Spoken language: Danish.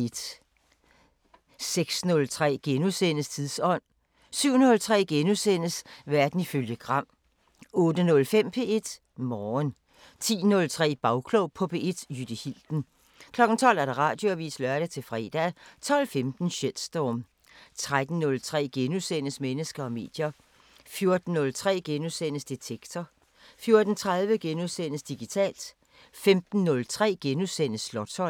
06:03: Tidsånd * 07:03: Verden ifølge Gram * 08:05: P1 Morgen 10:03: Bagklog på P1: Jytte Hilden 12:00: Radioavisen (lør-fre) 12:15: Shitstorm 13:03: Mennesker og medier * 14:03: Detektor * 14:30: Digitalt * 15:03: Slotsholmen *